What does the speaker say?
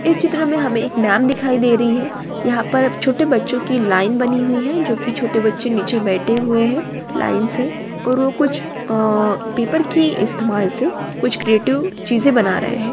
''इस चित्र में हमें एक मैम दिखाई दे रही हैं | यहाँ पर छोटे बच्चों की लाईन बनी हुई है जो कि छोटे बच्चे नीचे बैठे हुए हैं लाईन सेऔर वो कुछ अ.अ पेपर के इस्तेमाल से कुछ क्रिएटिव चीजें बना रहे हैं।''